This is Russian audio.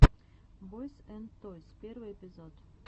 бойз энд тойс первый эпизод